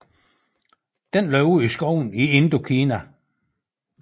Den lever i skovene i Indokina